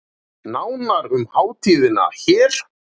Nánar um hátíðina hér